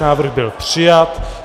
Návrh byl přijat.